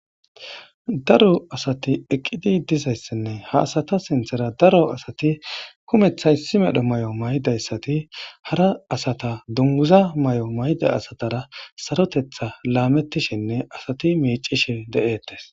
daro asati eqqidi dizayssinne ha asata sinthera daro asati kumethay si medho may7o maydayssati hara asata dunguza may7o mayda asatara sarotetha laamettishinne asati miicishe de7eettes